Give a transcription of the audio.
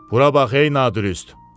Bura bax ey nadürüst!